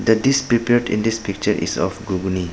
The dish prepared in this picture is of ghugni.